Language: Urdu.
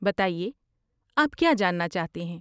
بتائیے، آپ کیا جاننا چاہتے ہیں؟